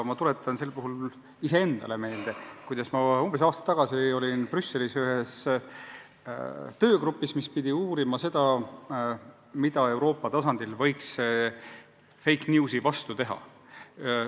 Tuletan sel puhul iseendale meelde, kuidas ma umbes aasta tagasi olin Brüsselis ühes töögrupis, kes pidi uurima, mida Euroopa tasandil võiks fake news'i vastu teha.